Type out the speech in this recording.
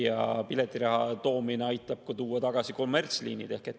Ja piletiraha aitab ka tuua tagasi kommertsliinid.